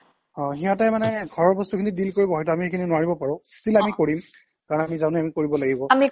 অ' সিহঁতে মানে ঘৰৰ বস্তুখিনি deal কৰিব হয়তো আমি সেইখিনি নোৱাৰিবও পাৰো still আমি কৰিম কাৰণ আমি জানো আমি কৰিব লাগিব